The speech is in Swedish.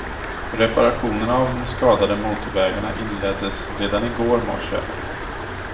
Reparationerna av de skadade motorvägarna inleddes redan igår morse.